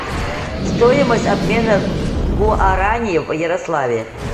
стоимость обмена гуарани в ярославле